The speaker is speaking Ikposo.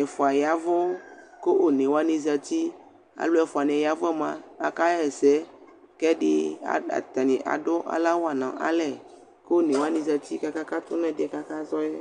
Ɛfʋa ya ɛvʋ kʋ one wa zatɩ Ɔlʋ ɛfʋa nɩ yɛ yavʋ yɛ mʋa ɔkaɣa ɛsɛ, kʋ ɛdɩ atanɩ adʋ alɔwa nʋ alɛ, kʋ one wanɩ zǝtɩ kʋ aka katʋ nʋ ɛsɛ kʋ aka zɔ yɛ